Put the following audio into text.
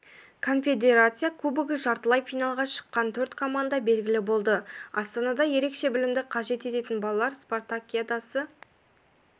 конфедерация кубогы жартылай финалға шыққан төрт команда белгілі болды астанада ерекше білімді қажет ететін балалар спартакиадасы